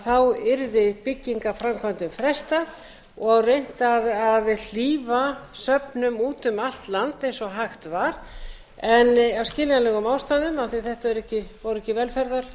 þá yrði byggingarframkvæmdum frestað og reynt að hlífa söfnum út um allt land eins og hægt var en af skiljanlegum ástæðum af því að þetta voru ekki velferðarmál